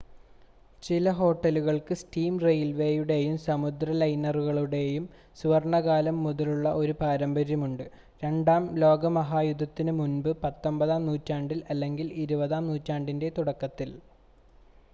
ചില ഹോട്ടലുകൾക്ക് സ്റ്റീം റെയിൽവേയുടെയും സമുദ്ര ലൈനറുകളുടെയും സുവർണ്ണകാലം മുതലുള്ള ഒരു പാരമ്പര്യമുണ്ട് രണ്ടാം ലോക മഹായുദ്ധത്തിന് മുമ്പ് 19-ആം നൂറ്റാണ്ടിൽ അല്ലെങ്കിൽ 20-ആം നൂറ്റാണ്ടിൻ്റെ തുടക്കത്തിൽ